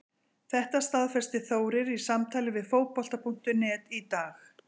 Þetta staðfesti Þórir í samtali við Fótbolta.net í dag.